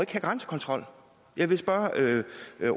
grænsekontrol jeg vil spørge